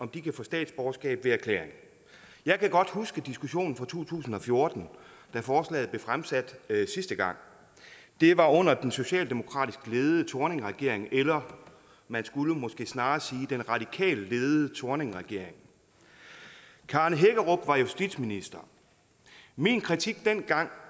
kan få statsborgerskab ved erklæring jeg kan godt huske diskussionen fra to tusind og fjorten da forslaget blev fremsat sidste gang det var under den socialdemokratisk ledede thorningregering eller man skulle måske snarere sige den radikalt ledede thorningregering karen hækkerup var justitsminister min kritik dengang